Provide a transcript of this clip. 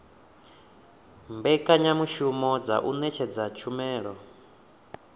mbekanyamushumo dza u ṅetshedza tshumelo